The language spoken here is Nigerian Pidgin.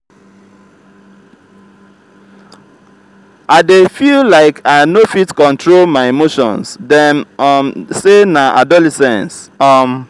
i dey feel like i no fit control my emotions dem um sey na adolescence. um